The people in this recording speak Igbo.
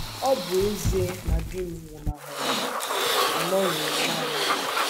Ọ bụ ezie Ọ bụ ezie na di m nwụnahụrụ m, anọghị m nanị m.